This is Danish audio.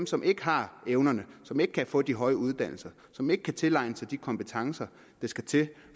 som ikke har evnerne som ikke kan få de høje uddannelser og som ikke kan tilegne sig de kompetencer der skal til